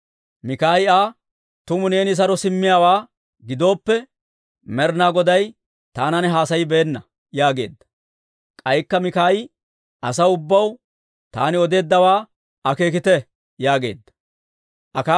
Mikaayi Aa, «Tumu neeni saro simmiyaawaa gidooppe, Med'inaa Goday taanan haasayibeenna» yaageedda. K'aykka Mikaayi, «Asaw ubbaw, taani odeeddawaa akeekite» yaageedda.